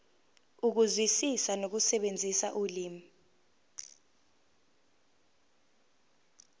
ukuzwisisa nokusebenzisa ulimi